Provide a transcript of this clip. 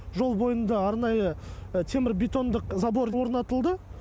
жол бойында арнайы темір бетондық забор орнатылды